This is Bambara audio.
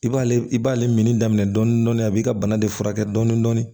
I b'ale i b'ale minni daminɛ dɔɔnin dɔɔnin a b'i ka bana de furakɛ dɔɔnin dɔɔnin